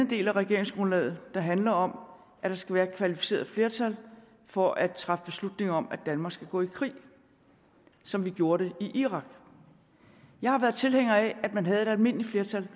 del af regeringsgrundlaget der handler om at der skal være kvalificeret flertal for at træffe beslutning om at danmark skal gå i krig som vi gjorde det i irak jeg har været tilhænger af at man havde et almindeligt flertal